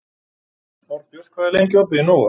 Árbjört, hvað er lengi opið í Nova?